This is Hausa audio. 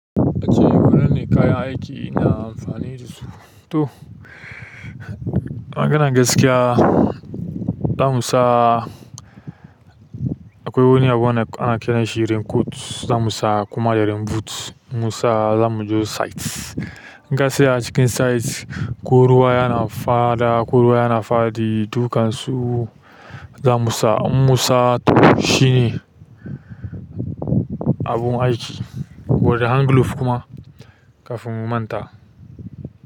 Ace wanan ne kayan aiki na amfanin su. To, maganan gaskiya za mu sa akwai wani abu da ana kiranshi rain coat za mu sa kuma da rain boot za mu sa za mu je site. In ka tsaya cikin site ko ruwa yana faɗa, ko ruwa yana faɗi, dukan su za mu sa. In mu sa to shine abun aiki wanda hand glove kuma kafin mu manta.